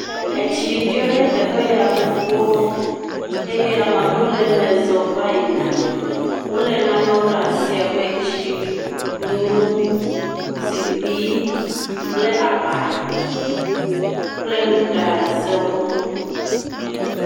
Etsi ɖɔ ɖe teƒe ya gbogbo eye ame aɖewo le me zɔm va yina. Wo le nanewo ɖe asi abe zikpui kple aba kple nuɖazewo.